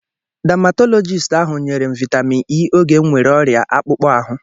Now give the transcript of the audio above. Damatọlọgisti ahụ nyere m vaịtamin E oge m nwere ọrịa akpụkpọ ahụ.